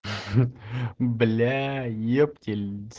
блять ептель